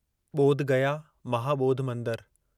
बोध गया महाबोधि मंदरु